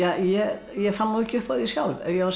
ég ég fann nú ekki upp á því sjálf ef ég á að segja